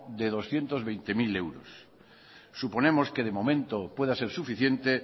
de doscientos veinte mil euros suponemos que de momento pueda ser suficiente